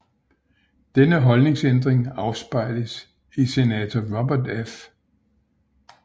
Denne holdningsændring afspejles i senator Robert F